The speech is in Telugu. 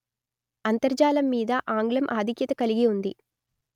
అంతర్జాలం మీద ఆంగ్లం ఆధిక్యత కలిగి ఉంది